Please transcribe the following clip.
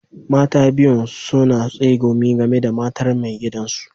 Mata biyun suna tsegumi game da matar mai gidan su.